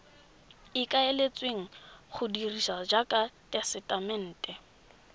ikaeletsweng go dirisiwa jaaka tesetamente